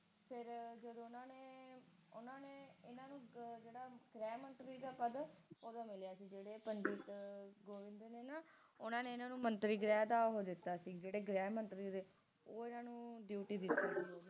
ਓਦੋ ਓਹਦਾ ਮਿਲਿਆ ਸੀ ਜਿਹੜੇ ਪੰਡਿਤ ਦੇ ਦਿੰਦੇ ਨੇ ਨਾ ਓਹਨਾ ਨੇ ਹਨ ਨੂੰ ਮੰਤਰੀ ਗ੍ਰਹਿ ਦਾ ਉਹ ਦਿੱਤਾ ਸੀ ਜਿਹੜੇ ਗ੍ਰਹਿ ਮੰਤਰੀ ਦੇ ਉਹ ਇਹਨਾਂ ਨੂੰ duty ਦਿੱਤੀ ਸੀ